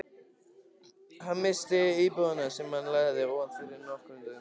Hann missti íbúðina, sem hann leigði, óvænt fyrir nokkrum dögum.